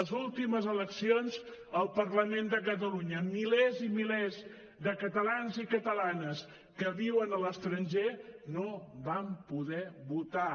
les últimes eleccions al parlament de catalunya milers i milers de catalans i catalanes que viuen a l’estranger no van poder votar